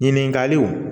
Ɲininkaliw